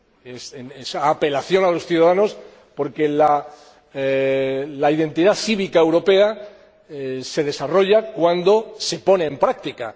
Es una apelación a los ciudadanos, porque la identidad cívica europea se desarrolla cuando se pone en práctica